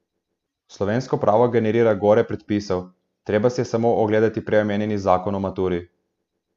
Slovensko pravo generira gore predpisov, treba si je samo ogledati prej omenjeni zakon o maturi.